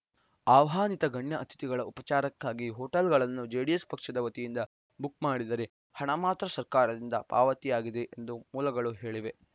ಆಹ್ವಾನಿತ ಗಣ್ಯ ಅತಿಥಿಗಳ ಉಪಚಾರಕ್ಕಾಗಿ ಹೋಟೆಲ್‌ಗಳನ್ನು ಜೆಡಿಎಸ್‌ ಪಕ್ಷದ ವತಿಯಿಂದ ಬುಕ್‌ ಮಾಡಿದರೆ ಹಣ ಮಾತ್ರ ಸರ್ಕಾರದಿಂದ ಪಾವತಿಯಾಗಿದೆ ಎಂದು ಮೂಲಗಳು ಹೇಳಿವೆ